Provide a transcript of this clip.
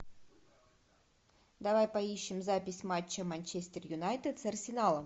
давай поищем запись матча манчестер юнайтед с арсеналом